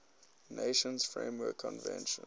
nations framework convention